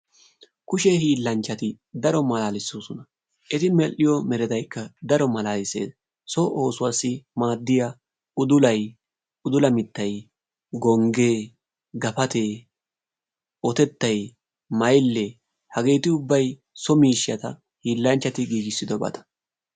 Kushe hiilanchchati daro malalissoosona. Eti medhdhiyo meretaykka daro malalissees. So oosuwassi maaddiyaa udullay, uddula mittay, gonggee, gapattee, otettay mayyile hageeti ubbay so miishshata hiilanchchati giigissidoobata.